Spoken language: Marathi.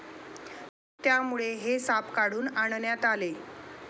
त्यामुळे हे साप कुठून आणण्यात आले?